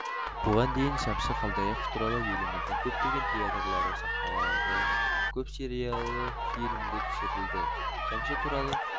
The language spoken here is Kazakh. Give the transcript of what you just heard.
бұған дейін шәмші қалдаяқов туралы еліміздің көптеген театрлары сахналады көп сериялы фильм де түсірілді шәмші туралы